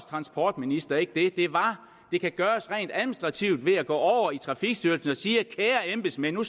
transportminister ikke det det kan gøres rent administrativt ved at gå over i trafikstyrelsen og sige kære embedsmænd nu